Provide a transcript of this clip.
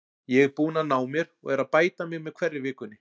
Ég er búinn að ná mér og er að bæta mig með hverri vikunni.